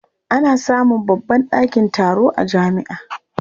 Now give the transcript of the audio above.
Ana samun babban ɗakin taro a jami'a.